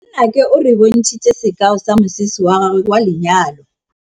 Nnake o re bontshitse sekaô sa mosese wa gagwe wa lenyalo.